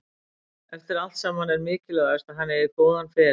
Eftir allt saman er mikilvægast að hann eigi góðan feril.